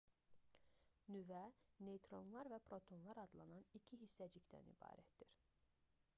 nüvə neytronlar və protonlar adlanan iki hissəcikdən ibarətdir